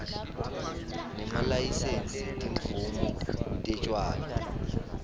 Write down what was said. nemalayisensi timvumo tetjwala